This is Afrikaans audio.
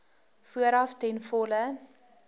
vooraf ten volle